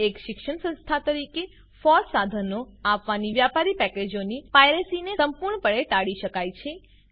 એક શિક્ષણ સંસ્થા તરીકે ફોસ સાધનોને અપનાવીને વ્યાપારી પેકેજોની પાયરેસીને સંપૂર્ણપણે ટાળી શકાય છે